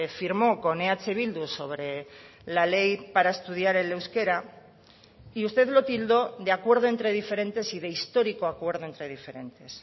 firmó con eh bildu sobre la ley para estudiar el euskera y usted lo tildó de acuerdo entre diferentes y de histórico acuerdo entre diferentes